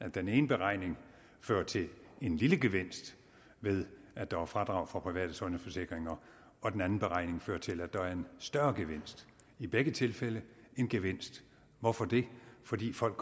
den ene beregning fører til en lille gevinst ved at der er fradrag for private sundhedsforsikringer og den anden beregning fører til at der er en større gevinst i begge tilfælde en gevinst hvorfor det fordi folk